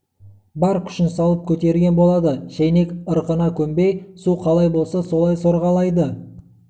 бар күшін салып көтерген болады шайнек ырқына көнбей су қалай болса солай сорғалайды